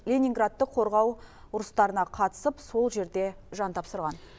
ленинградты қорғау ұрыстарына қатысып сол жерде жан тапсырған